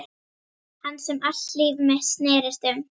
Hans sem allt líf mitt snerist um.